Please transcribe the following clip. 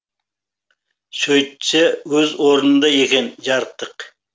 сөйтсе өз орнында екен жарықтық